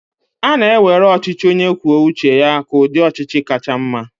a na-ewere ọchịchị onye kwuo uche ya ka ụdị ọchịchị kacha mma